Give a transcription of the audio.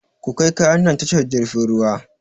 Kukai kayan nan tashar jirfin ruwa!